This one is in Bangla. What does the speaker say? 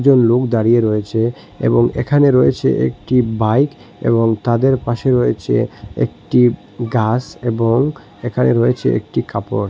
লোক দাঁড়িয়ে রয়েছে এবং এখানে রয়েছে একটি বাইক এবং তাদের পাশে রয়েছে একটি গাস এবং এখানে রয়েছে একটি কাপড়।